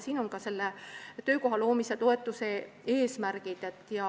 Siin on kirjas ka töökoha loomise toetuse eesmärgid.